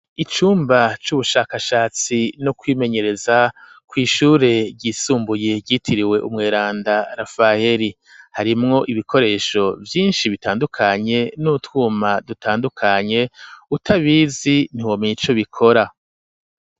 Icumba c'ubushakashatsi no kwimenyereza kw'ishure ry'isumbuye ryitiriwe umweranda rafaheri harimwo ibikoresho vyinshi bitandukanye n'utwuma dutandukanye utabizi ntibomeye ico bikora.